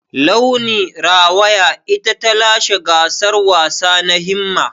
Launi rawaya ita ta lashe gasar wasa na Himma.